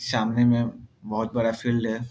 सामने में बहुत बड़ा फील्ड है।